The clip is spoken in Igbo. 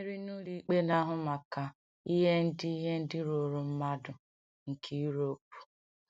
Mmeri n’Ụlọikpe Na-ahụ Maka Ihe Ndị Ihe Ndị Ruuru Mmadụ nke Europe.